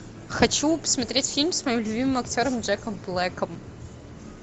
хочу посмотреть фильм с моим любимым актером джеком блэком